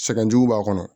Sɛgɛn jugu b'a kɔnɔ